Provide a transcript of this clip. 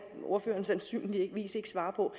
ordføreren sandsynligvis ikke svare på